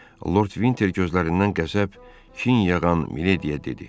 Lord Vinter gözlərindən qəzəb, kin yağan Milediya dedi.